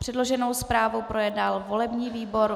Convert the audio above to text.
Předloženou zprávu projednal volební výbor.